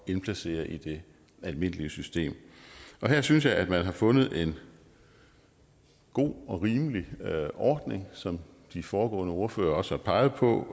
indplacere i det almindelige system her synes jeg at man har fundet en god og rimelig ordning som de foregående ordførere også har peget på